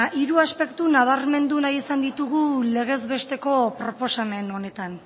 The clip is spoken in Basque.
hori aspektu nabarmendu nahi izan ditugu legez besteko proposamen honetan